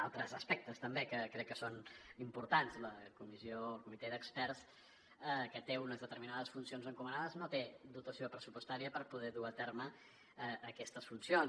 altres aspectes també que crec que són importants el comitè d’experts que té unes determinades funcions encomanades no té dotació pressupostària per poder dur a terme aquestes funcions